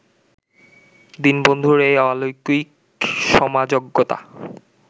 দীনবন্ধুর এই অলৌকিক সমাজজ্ঞতা